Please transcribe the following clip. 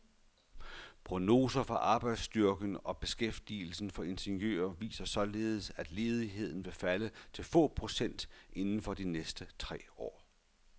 Prognoser for arbejdsstyrken og beskæftigelsen for ingeniører viser således, at ledigheden vil falde til få procent inden for de næste tre år.